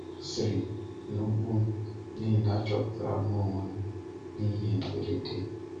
Ọ sịrị, Nụ mkpù m, n’ihi na achọpụtara m onwe m n’ihe mberede.